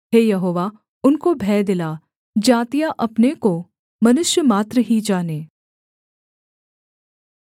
हे यहोवा उनको भय दिला जातियाँ अपने को मनुष्यमात्र ही जानें सेला